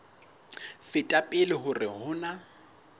feta pele hore ho na